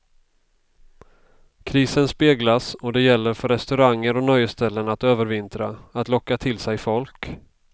Krisen speglas och det gäller för restauranger och nöjesställen att övervintra, att locka till sig folk.